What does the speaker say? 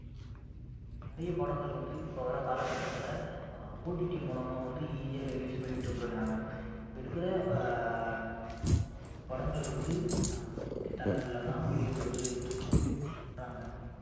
நிறைய படங்கள் வந்து இப்ப வர்ற காலகட்டங்கள்ல ஆஹ் OTT மூலமா வந்து easy யா release பண்ணிட்டு போயிடுறாங்க இப்ப இருக்கிற ஆஹ் முக்காவாசி படங்கள் வந்து அஹ் OTT தளங்கள்லதான் வெளிய வருது அப்படின்னு வந்து சொல்றாங்க